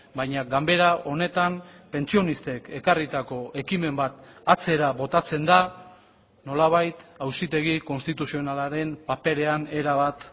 baina ganbera honetan pentsionistek ekarritako ekimen bat atzera botatzen da nolabait auzitegi konstituzionalaren paperean erabat